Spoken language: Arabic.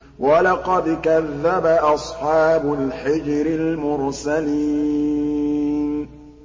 وَلَقَدْ كَذَّبَ أَصْحَابُ الْحِجْرِ الْمُرْسَلِينَ